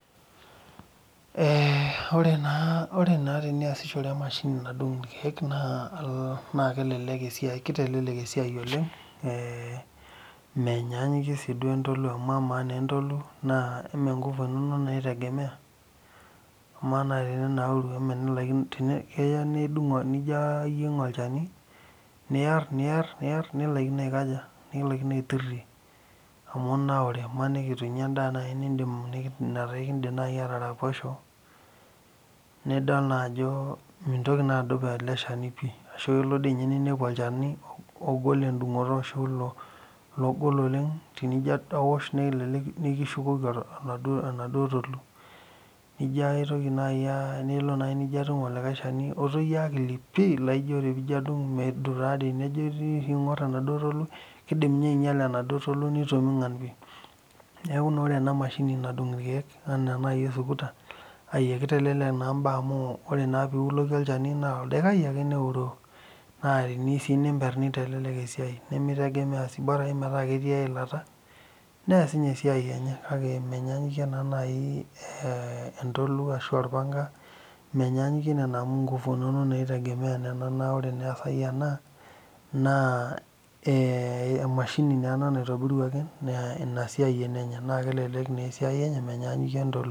Ee ore na teniasiahore emashini nadung irkiek amu kitelelek na esiai amu menyanyikie entolu amu ore entolu na nkufu inonok itegemea ama naai teninauri keya nijo adung olchani niar nilakino aikuna aja aitirie amu itanaurw imaniki itunya nai endaa nitunye iraposho nidol ajo mintoki adup eleshani pii amu kelo nitum ologol enijo aosh nikishukoki enaduo Tolu nijo aitoki orepinoki alo atum likae shani otoyio nijo adung medung pii indim inye ainyala enaduo Tolu neaku ore enamashini nadung irkiek na ore piuloku nedung pii neas ninye esiaia enye kake menyanyikie nona amu nkufu inonok itumia na ore wasai ena na emashini naotobiruaki na kelelek esiai enye menyanyikie entolu.